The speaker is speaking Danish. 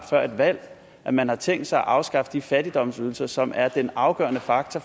før et valg at man har tænkt sig at afskaffe de fattigdomsydelser som er den afgørende faktor